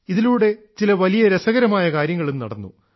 ഇതിലൂടെ ചില വലിയ രസകരമായ കാര്യങ്ങളും നടന്നു